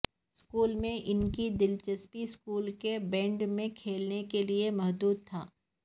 school میں ان کی دلچسپی اسکول کے بینڈ میں کھیلنے کے لئے محدود تھا